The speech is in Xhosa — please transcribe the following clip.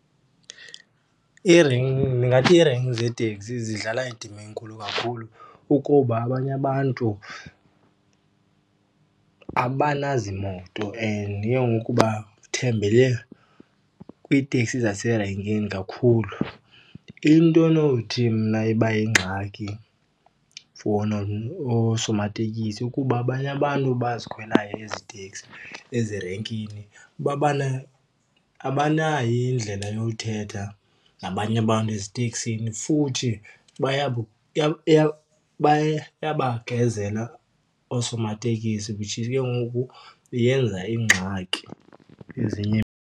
Ndingathi irenki zeeteksi zidlala indima enkulu kakhulu ukuba abanye abantu abanazimoto and ke ngoku bathembele kwiiteksi zaserenkini kakhulu. Into onothi mna ibayingxaki for oosomatekisi ukuba abanye abantu abazikhwelayo ezi teksi ezirenkini abanayo indlela yowuthetha nabanye abantu eziteksini futhi bayabagezela oosomateksi, which is ke ngoku yenza iingxaki .